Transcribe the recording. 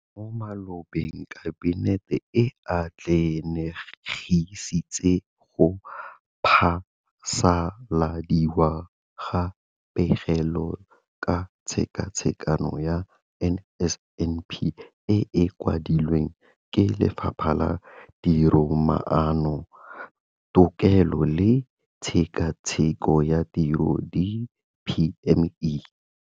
Mo malobeng Kabinete e atlenegisitse go phasaladiwa ga Pegelo ka Tshekatsheko ya NSNP e e kwadilweng ke Lefapha la Tiromaano, Tekolo le Tshekatsheko ya Tiro DPME.